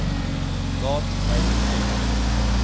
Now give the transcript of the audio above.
laat my ten